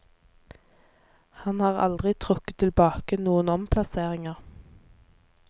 Han har aldri trukket tilbake noen omplasseringer.